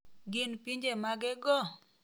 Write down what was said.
Gin pinje mage go?